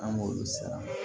An b'olu sara